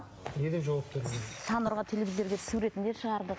саннұрға телевизорға суретін де шығардық